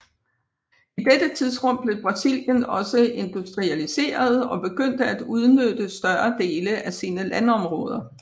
I dette tidsrum blev Brasilien også industrialiseret og begyndte at udnytte større dele af sine landområder